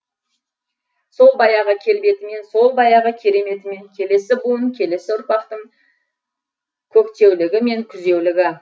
сол баяғы келбетімен сол баяғы кереметімен келесі буын келесі ұрпақтың көктеулігі мен күзеулігі